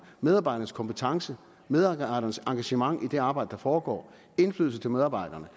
medarbejdernes kompetence medarbejdernes engagement i det arbejde der foregår indflydelse til medarbejderne